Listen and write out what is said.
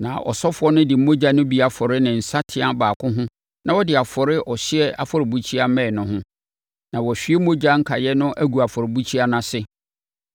Na ɔsɔfoɔ no de mogya no bi afɔre ne nsateaa baako ho na ɔde afɔre ɔhyeɛ afɔrebukyia mmɛn no ho. Na wahwie mogya no nkaeɛ no agu afɔrebukyia no ase.